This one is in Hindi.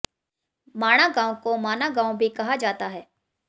माणा गांव को माना गांव भी कहा जाता है